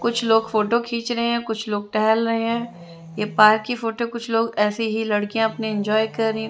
कुछ लोग फोटो खींच रहे हैं कुछ लोग टहल रहे हैं ये पार्क की फोटो कुछ लोग ऐसे ही लड़कियां अपने इंजॉय कर रहीं--